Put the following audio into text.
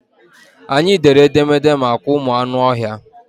Anyị dere edemede maka ụmụ anụ ọhịa.